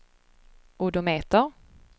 odometer